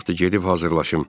Vaxtı gedib hazırlaşım.